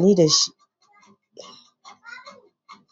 wannan kenan.